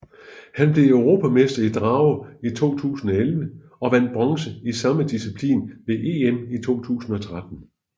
Han blev europamester i drage i 2011 og vandt bronze i samme disciplin ved EM i 2013